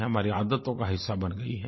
हमारी आदतों का हिस्सा बन गई हैं